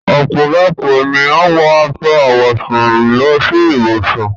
Ọ́pọlọpọ̀ ènìyàn wọ aṣọ àwọ̀sún lọ sí íbùṣùn.